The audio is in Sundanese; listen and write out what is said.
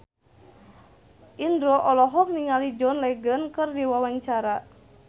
Indro olohok ningali John Legend keur diwawancara